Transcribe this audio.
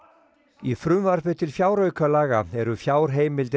í frumvarpi til fjáraukalaga eru fjárheimildir